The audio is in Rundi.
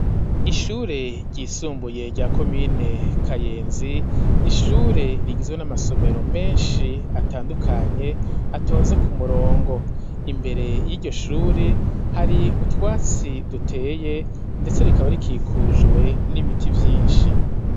Ishure ryisumbuye rya komine Kayenzi, ni ishure rigizwe n'amasomero menshi atandukanye atonze ku murongo. Imbere y'iryo shure hari utwatsi duteye, ndetse rikaba rikikujwe n'ibiti vyinshi.